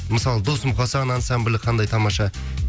мысалы дос мұқасан ансамблі қандай тамаша